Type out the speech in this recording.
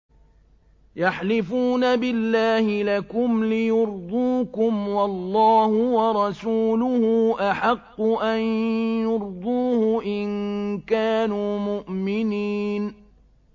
يَحْلِفُونَ بِاللَّهِ لَكُمْ لِيُرْضُوكُمْ وَاللَّهُ وَرَسُولُهُ أَحَقُّ أَن يُرْضُوهُ إِن كَانُوا مُؤْمِنِينَ